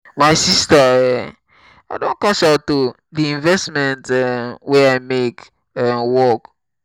my sister um i don cash out o. the investment um wey i make um work.